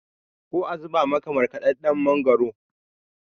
ko a zubo maka markadadden mangoro?